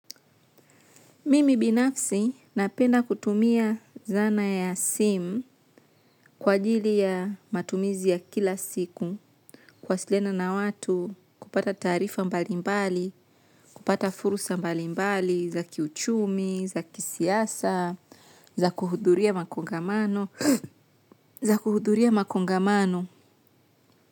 Mimi binafsi napenda kutumia zana ya simu kwa ajili ya matumizi ya kila siku kuwasiliana na watu kupata taarifa mbalimbali, kupata fursa mbalimbali, za kiuchumi, za kisiasa, za kuhuduria makongamano, za kuhuduria makongamano.